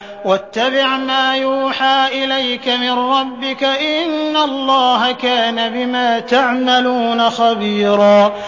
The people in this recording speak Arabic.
وَاتَّبِعْ مَا يُوحَىٰ إِلَيْكَ مِن رَّبِّكَ ۚ إِنَّ اللَّهَ كَانَ بِمَا تَعْمَلُونَ خَبِيرًا